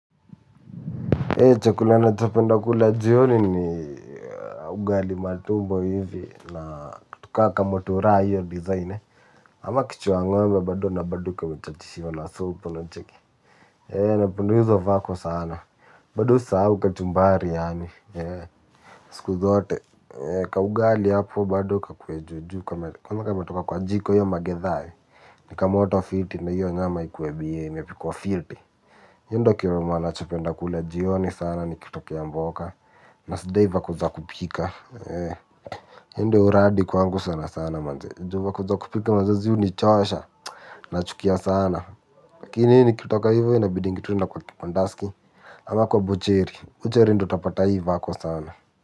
Chakula nachopenda kula jioni ni ugali matumbo hivi na kitu ka kamuturaa hiyo design ama kichwa ngombe bad na bado kamechachishiwa la supu unacheki. Eee napenda hizo vako sana bado usasau kachumbari yaani siku zote ka ugali hapo bado kakue juju kenye kametoka kwa jiko iyo magithaa. Nikamoto filti na iyo nyama ikuwe bie imepikuwa fiti iyo ndo kiroma nachopenda kula jioni sana nikitokea mboka. Na sidai vaku za kupika E iyo ndo uradi kwangu sana sana manze Jumwa kuzakupika manzezi huu nichoasha. Nachukia sana. Kini hini kitoka hivyo inabidi ngituna kwa kipandaski. Ama kwa bucheri bucheri ndo utapata ii vako sana.